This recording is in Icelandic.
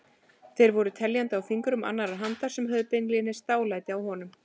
Þeir voru teljandi á fingrum annarrar handar sem höfðu beinlínis dálæti á honum.